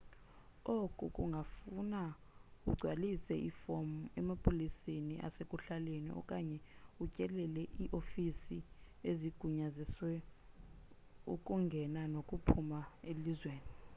oku kungafuna ugcwalise ifomu emapoliseni asekuhlaleni okanye utyelele iifofisi ezigunyazisa ukungena nokuphuma elizweni